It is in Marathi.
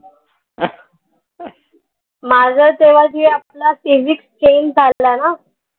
माझा तेव्हा जे आपला physics change झाला ना